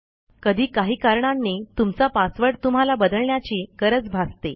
कधी काही कारणांनी तुमचा पासवर्ड तुम्हाला बदलण्याची गरज भासते